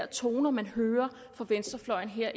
toner man hører fra venstrefløjen her